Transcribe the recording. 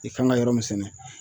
I kan ka yɔrɔ min sɛnɛ